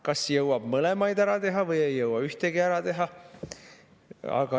Kas jõuab mõlemad ära teha või ei jõua ühtegi ära teha.